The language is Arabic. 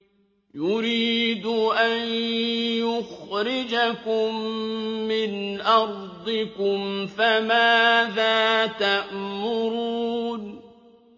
يُرِيدُ أَن يُخْرِجَكُم مِّنْ أَرْضِكُمْ ۖ فَمَاذَا تَأْمُرُونَ